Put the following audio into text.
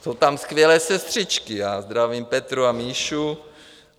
Jsou tam skvělé sestřičky, já zdravím Petru a Míšu.